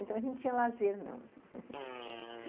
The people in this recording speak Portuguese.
Então, a gente tinha lazer, não e